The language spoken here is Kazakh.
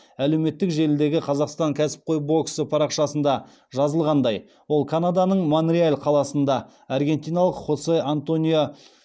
әлеуметтік желідегі қазақстан кәсіпқой боксы парақшасында жазылғандай ол канаданың монреаль қаласында аргентиналық хосе антонио